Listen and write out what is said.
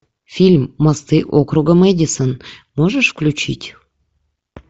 фильм мосты округа мэдисон можешь включить